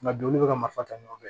Nka donni bɛ ka marifa ta ɲɔgɔn fɛ